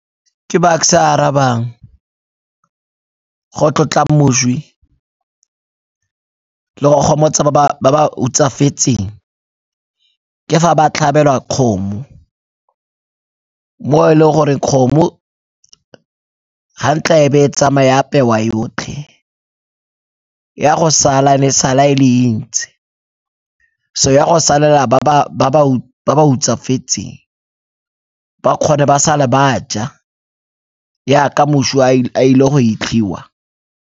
Ke Bucks-e a arabang, go tlotla moswi le go gomotsa ba ba hutsafetseng ke fa ba tlhabelwa kgomo, mo e leng gore kgomo ga ntla be e tsamaya e apewa yotlhe, e a go sala, e be e sala e le e ntsi. So e a go salela ba ba hutsafetseng ba kgone ba sale ba ja yaka moswa a ile go 'itlhiwa.